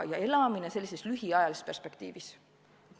Elatakse lühiajalise perspektiiviga.